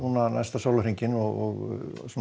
næsta sólarhringinn og